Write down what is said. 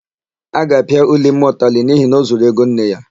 A ga-apịa Ulimma ụtalị n'ihi na ọ zuru ego nne ya.